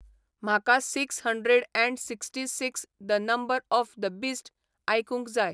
म्हाका six hundred and sixty six the number of the beast आयकूंक जाय